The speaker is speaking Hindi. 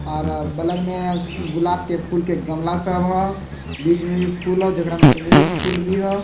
और बगल मे गुलाब के फूल के गमला सब है बीच मे भी फूल हो जेकरा में चमेली के भी फूल हो।